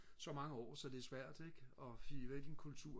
så mange år så det er svært ikke og hive væk en kultur